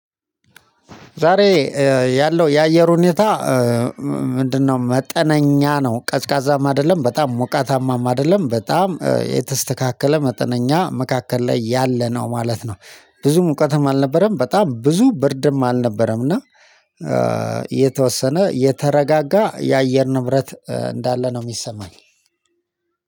ዛሬ ያለው የአየር ሁኔታ ምንድነው? መጠነኛ ነው ቀዝቃዛም አይደለም በጣም ሞቃታማም አይደለም በጣም የተስተካከለ መጠነኛ መካከል ላይ ያለ ነው ማለት ነው። ብዙ ሙቀትም አልነበረም በጣም ብዙ ብርድም አልነበረም። እና የተወሰነ የተረጋጋ የአየር ንብረት እንዳለ ነው የሚሰማኝ።